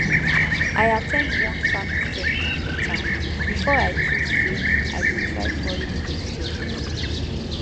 i at ten d one farming seminar for town before i choose say i go try foreign vegetables